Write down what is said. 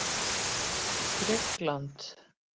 Grikkland